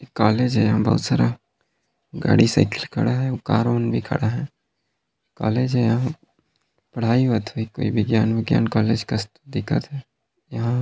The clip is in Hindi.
काले गाड़ी साइकिल खड़ा है कार - उर भी खड़ा है काले पढ़ाई होवत हे कोई विज्ञान- उज्ञान का दिखत है --